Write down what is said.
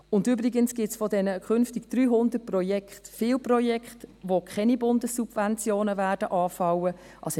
Und übrigens gibt es von diesen künftigen 300 Projekten viele Projekte, bei denen keine Bundessubventionen anfallen werden.